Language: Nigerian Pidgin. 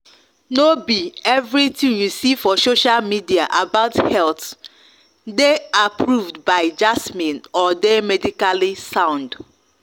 no be everything you see for social media about health dey approved by jasmine or dey medically sound.